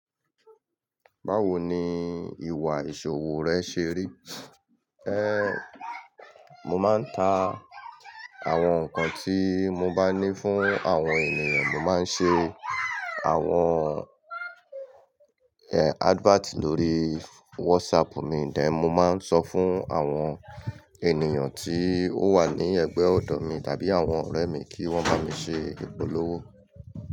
Báwo ni ìwà ìṣòwò rẹ ṣe rí? Eh Mo máa ń ta àwọn nǹkan tí mo bá ní fún àwọn ènìyàn, mo máa ń ṣe àwọn advert lórí WhatsApp mi, then mo máa ń sọ fún àwọn ènìyàn tí ó wà ní ẹgbẹ́ ọ̀dọ̀ mi tàbí àwọn ọ̀rẹ́ mi kí wọ́n bá mi ṣe ìpolówó.